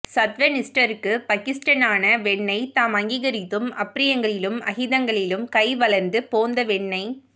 சத்வ நிஷ்டர்க்கு பஹிஷ்டனான வென்னைத் தாம் அங்கீ கரித்தும் அப்ரியங்களிலும் அஹிதங்களிலும் கை வளர்ந்து போந்த வென்னைக்